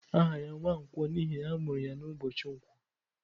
Aha ya Nwankwo n'ihi na amuru ya n'ubochi nkwo.